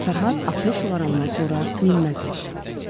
Fərhad atını sulayandan sonra minməzmiş.